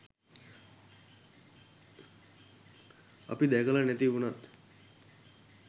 අපි දැකල නැති වුනත්